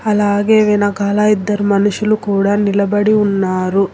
అలాగే వెనకాల ఇద్దరు మనుషులు కూడా నిలబడి ఉన్నారు.